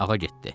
Ağa getdi.